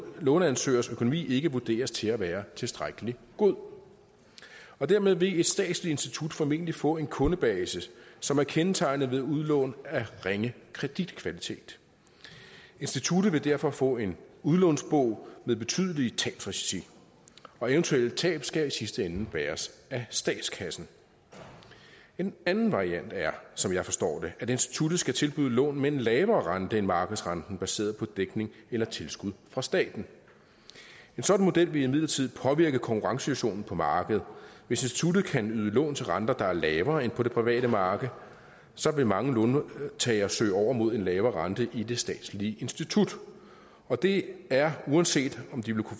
låneansøgers økonomi ikke vurderes til at være tilstrækkelig god dermed vil et statsligt institut formentlig få en kundebase som er kendetegnet ved udlån af ringe kreditkvalitet instituttet vil derfor få en udlånsbog med betydelige tabsrisici og eventuelle tab skal i sidste ende bæres af statskassen en anden variant er som jeg forstår det at instituttet skal tilbyde lån med en lavere rente end markedsrenten baseret på dækning eller tilskud fra staten en sådan model vil imidlertid påvirke konkurrencesituationen på markedet hvis instituttet kan yde lån til renter der er lavere end på det private marked så vil mange låntagere søge over mod en lavere rente i det statslige institut og det er uanset om de